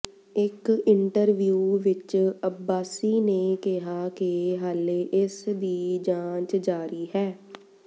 ਇੱਕ ਇੰਟਰਵਿਊ ਵਿੱਚ ਅੱਬਾਸੀ ਨੇ ਕਿਹਾ ਕਿ ਹਾਲੇ ਇਸ ਦੀ ਜਾਂਚ ਜਾਰੀ ਹੈ